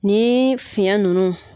Nin fiɲɛ nunnu